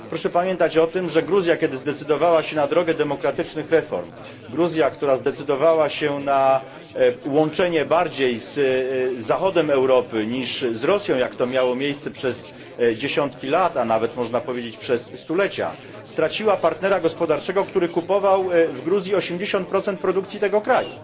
Proszę pamiętać o tym, że Gruzja, kiedy zdecydowała się na drogę demokratycznych reform, Gruzja, która zdecydowała się na łączenie bardziej z zachodem Europy niż z Rosją jak to miało miejsce przez dziesiątki lat, a nawet można powiedzieć przez stulecia straciła partnera gospodarczego, który kupował w Gruzji 80 produkcji tego kraju.